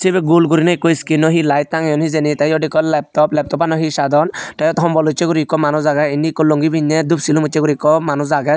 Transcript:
sibey gul gurine ekko skino he light tangeyon hijeni tey yot ekko leptop leptopanot he sadon tey yot hombol ucche guri ekko manuch agey indi ekko longi pinney dup silum ucche guri ekko manuch agey.